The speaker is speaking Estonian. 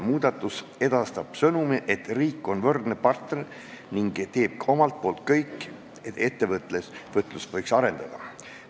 Muudatus edastab sõnumi, et riik on võrdne partner ning teeb ka omalt poolt kõik, et ettevõtlus võiks areneda.